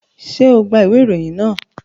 Ṣe o gba iwe iroyin naa?